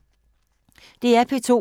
DR P2